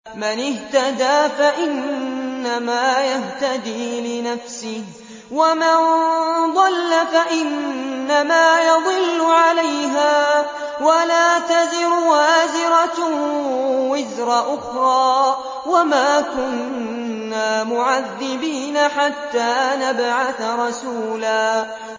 مَّنِ اهْتَدَىٰ فَإِنَّمَا يَهْتَدِي لِنَفْسِهِ ۖ وَمَن ضَلَّ فَإِنَّمَا يَضِلُّ عَلَيْهَا ۚ وَلَا تَزِرُ وَازِرَةٌ وِزْرَ أُخْرَىٰ ۗ وَمَا كُنَّا مُعَذِّبِينَ حَتَّىٰ نَبْعَثَ رَسُولًا